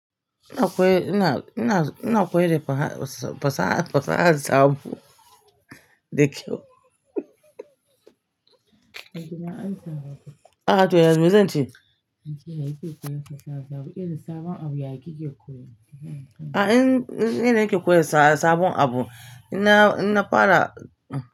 Ina koya, ina, ina, ina koyar da fasaha, fasaha sabo da kyau. Ah toh yanzu zan ce. Ah ina nake koyar sabon abu, ina, ina fara.